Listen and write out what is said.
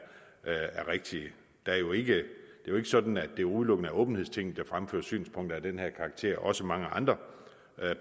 rigtige der er jo ikke sådan at det udelukkende er åbenhedstinget der fremfører synspunkter af den her karakter også mange andre